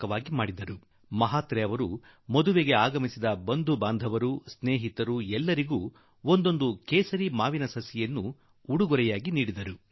ಮಹಾತ್ರೆ ಜೀ ಏನು ಮಾಡಿದರೆಂದರೆ ಸೋನಾಲ್ ಮದುವೆಗೆ ಬಂದ ಎಲ್ಲಾ ನೆಂಟರಿಷ್ಠರು ಸ್ನೇಹಿತರು ಅತಿಥಿಗಳಿಗೆಲ್ಲರಿಗೂ ಕೇಸರ್ ಮಾವಿನ ಮರದ ಒಂದೊಂದು ಸಸಿಯನ್ನು ಉಡುಗೊರೆಯಾಗಿ ನೀಡಿದರು